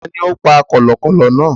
Tani ó pa kọ̀lọ̀kọ̀lọ̀ náà?